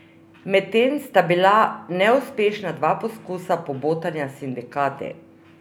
Medtem sta bila neuspešna dva poskusa pobotanja z sindikati.